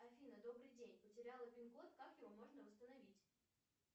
афина добрый день потеряла пин код как его можно восстановить